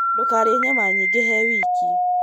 Ndũkarĩe nyama nyingĩhe wiki.